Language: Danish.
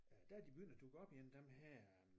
Øh der er de begyndt at dukke op igen dem her